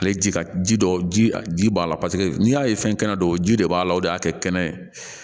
Ale ji ka ji dɔ ji b'a la paseke n'i y'a ye fɛn kɛnɛ don ji de b'a la o de y'a kɛ kɛnɛ ye